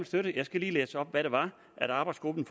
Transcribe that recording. støtte jeg skal lige læse op hvad det var arbejdsgruppen